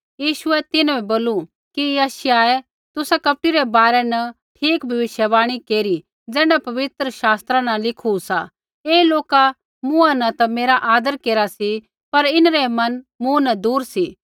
यीशुऐ तिन्हां बै बोलू कि यशायाहे तुसा कपटी रै बारै न ठीक भविष्यवाणी केरी ज़ैण्ढा पवित्र शास्त्रा न लिखू सा ऐ लोका मुँहा न ता मेरा आदर केरा सी पर इन्हरै मन मूँ न दूर सी